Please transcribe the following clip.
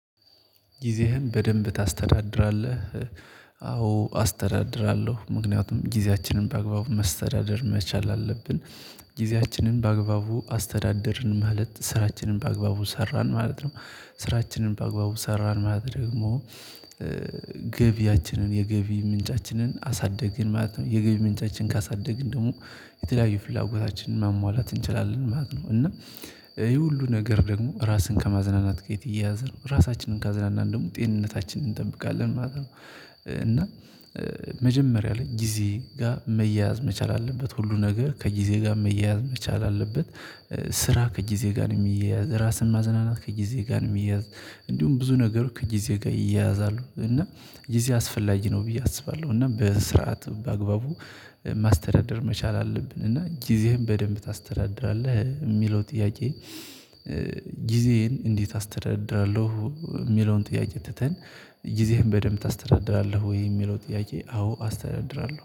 ጊዜህን በደንብ ታስተዳድራለህ? አዎ አስተዳድራለሁ ምክንያቱም ጊዜያችንን በአግባቡ ማስተዳደር መቻል አለብን ጊዜያችንን በአግባቡ አስተዳደርን ማለት ስራችንን በአግባቡ ሰራን ማለት ነው፣ ስራችንን በአግባቡ ሰራን ማለት ደግሞ ገቢያችንን የገቢ ምንጫችንን አሳደግን ማለት ነው፣ የገቢ ምንጫችንን ካሳደግን ደግሞ የተለያዩ ፍላጎታችንን ማሟላት እንችላለን ማለት ነው እና ይሄ ሁሉ ነገር ደግሞ ራስን ከማዝናናት ጋር የተያያዘ ነው ራሳችንን ካዝናናን ደግሞ ጤንነታችንን እንጠብቃለን ማለት ነው፤ እና መጀመሪያ ላይ ጊዜ ጋር መያያዝ መቻል አለበት ሁሉ ነገር ከጊዜ ጋር መያዝ መቻል አለበት ስራ ከጊዜ ጋር ነው የሚያያዝ፣ ራስን ማዘናናት ከጊዜ ጋር ነው የሚያያዝ፣ እንዲሁም ብዙ ነገሩ ከጊዜ ጋር ይያያዛሉ እና ጊዜ አስፈላጊ ነው ብዬ አስባለሁ እና በስርዓት በአግባቡ ማስተዳደር መቻል አለብን እና ጊዜህን በደንብ ታስተዳድራለህ የሚለው ጥያቄ ጊዜዬን እንዴት አስተዳድራለሁ የሚለውን ጥያቄ ትተን ጊዜህን በደንብ ታስተዳድራለህ ወይ የሚለው ጥያቄ አዎ አስተዳድራለሁ።